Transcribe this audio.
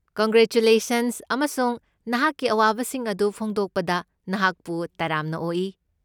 Congratulations ꯑꯃꯁꯨꯡ ꯅꯍꯥꯛꯀꯤ ꯑꯋꯥꯕꯁꯤꯡ ꯑꯗꯨ ꯐꯣꯡꯗꯣꯛꯄꯗ ꯅꯍꯥꯛꯄꯨ ꯇꯔꯥꯝꯅ ꯑꯣꯛꯏ꯫